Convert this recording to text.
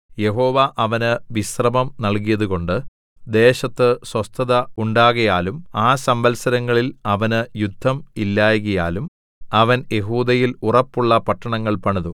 യഹോവ അവന് വിശ്രമം നല്കിയതുകൊണ്ട് ദേശത്ത് സ്വസ്ഥത ഉണ്ടാകയാലും ആ സംവത്സരങ്ങളിൽ അവന് യുദ്ധം ഇല്ലായ്കയാലും അവൻ യെഹൂദയിൽ ഉറപ്പുള്ള പട്ടണങ്ങൾ പണിതു